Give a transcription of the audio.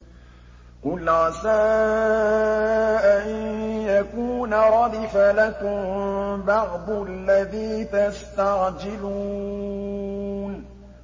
قُلْ عَسَىٰ أَن يَكُونَ رَدِفَ لَكُم بَعْضُ الَّذِي تَسْتَعْجِلُونَ